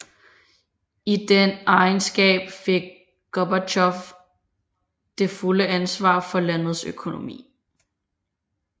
I den egenskab fik Gorbatjov det fulde ansvar for landets økonomi